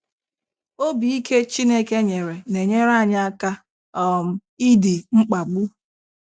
Obi ike Chineke nyere na-enyere anyị aka um idi mkpagbu